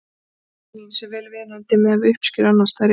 uppskera líns er vel viðunandi miðað við uppskeru annars staðar í evrópu